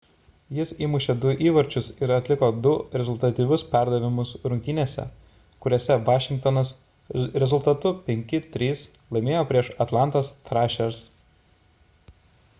jis įmušė 2 įvarčius ir atliko 2 rezultatyvius perdavimus rungtynėse kuriose vašingtonas rezultatu 5:3 laimėjo prieš atlantos thrashers